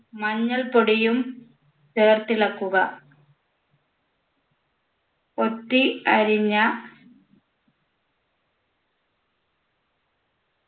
മഞ്ഞൾപ്പൊടിയും ചേർത്തിളക്കുക കൊത്തി അരിഞ്ഞ